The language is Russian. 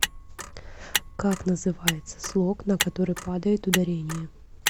как называется слог на который падает ударение